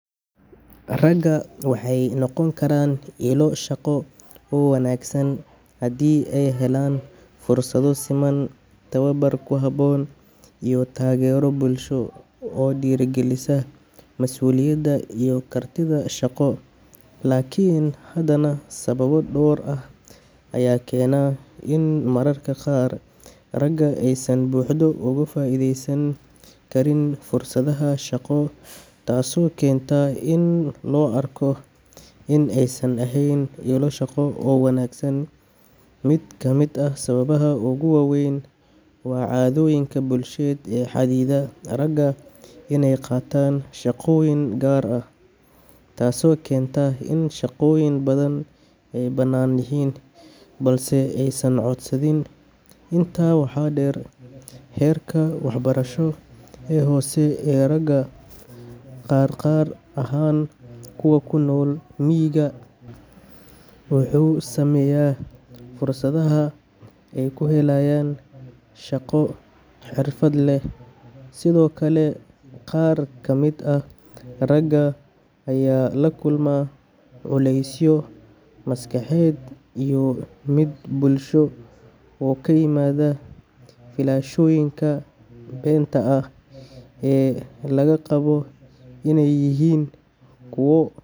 Ragga waxay noqon karaan ilo shaqo oo wanaagsan haddii ay helaan fursado siman, tababar ku habboon, iyo taageero bulsho oo dhiirrigelisa mas'uuliyadda iyo kartida shaqo. Laakiin haddana, sababo dhowr ah ayaa keena in mararka qaar ragga aysan si buuxda uga faa’iidaysan karin fursadaha shaqo, taasoo keenta in loo arko in aysan ahayn ilo shaqo oo wanaagsan. Mid ka mid ah sababaha ugu waaweyn waa caadooyinka bulsheed ee xaddida ragga iney qaataan shaqooyin gaar ah, taasoo keenta in shaqooyin badan ay bannaan yihiin balse aysan codsanin. Intaa waxaa dheer, heerka waxbarasho ee hoose ee ragga qaar, gaar ahaan kuwa ku nool miyiga, wuxuu saameeyaa fursadaha ay ku helayaan shaqo xirfad leh. Sidoo kale, qaar ka mid ah ragga ayaa la kulma culeysyo maskaxeed iyo mid bulsho oo ka yimaada filashooyinka beenta ah ee laga qabo inay yihiin kuwo.